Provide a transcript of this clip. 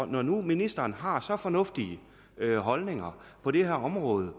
når nu ministeren har så fornuftige holdninger på det her område